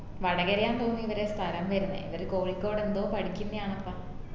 വടകരയാണ് തോന്ന് ഇവരെ സ്ഥലം വരുന്നേ ഇവര് കോഴിക്കോട് എന്തോ പഠിക്കുന്നെയാനപ്പ